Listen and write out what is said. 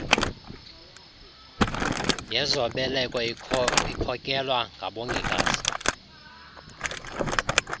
yezobeleko ikhokelwa ngabongikazi